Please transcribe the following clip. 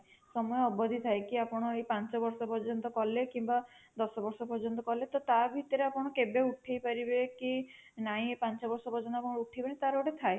ସମୟ ଅବଧି ଥାଏ କି ଆପଣ ଏଇ ପାଞ୍ଚ ବର୍ଷ ପର୍ଯ୍ୟନ୍ତ କଲେ କିମ୍ବା ଦଶ ବର୍ଷ ପର୍ଯ୍ୟନ୍ତ କଲେ ତ ତା ଭିତରେ ଆପଣ କେବେ ଉଠେଇ ପାରିବେ କି ନାଇଁ ପାଞ୍ଚ ବର୍ଷ ପର୍ଯନ୍ତ ଆପଣ ଉଠେଇବେନି ତାର ଗୋଟେ ଥାଏ